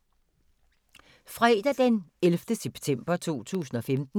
Fredag d. 11. september 2015